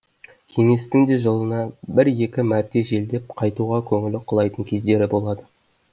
кеңестің де жылына бір екі мәрте желдеп қайтуға көңілі құлайтын кездері болады